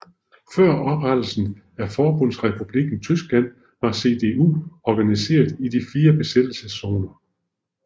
Før oprettelsen af Forbundsrepublikken Tyskland var CDU organiseret i de fire besættelseszoner